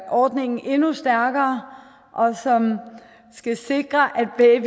ordningen endnu stærkere og som skal sikre at